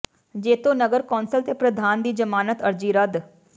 ਜੈਤੋ ਨਗਰ ਕੌਂਸਲ ਦੇ ਪ੍ਰਧਾਨ ਦੀ ਜ਼ਮਾਨਤ ਅਰਜ਼ੀ ਰੱਦ